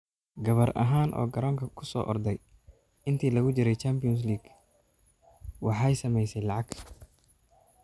Gabar ahaan oo garoonka ku soo orday intii lagu jiray Champions League waxay samaysay lacag.